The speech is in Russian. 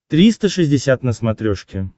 триста шестьдесят на смотрешке